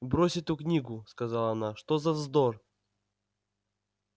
брось эту книгу сказала она что за вздор